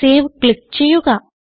save click ചെയ്യുക